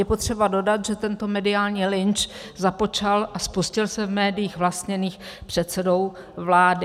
Je potřeba dodat, že tento mediální lynč započal a spustil se v médiích vlastněných předsedou vlády.